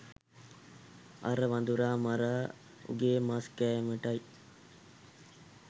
අර වඳුරා මරා උගේ මස් කෑමටයි.